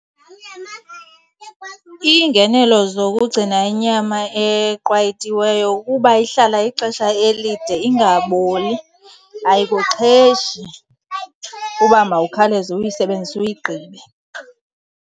Iingenelo zokugcina inyama eqwayitiweyo kukuba ihlala ixesha elide ingaboli, ayikuxheshi uba mawukhawuleze uyisebenzise uyigqibe.